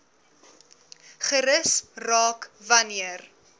gerus raak wanneer